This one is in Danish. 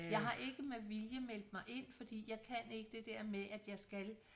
Jeg har ikke med vilje meldt mig ind fordi jeg kan ikke det dér med at jeg skal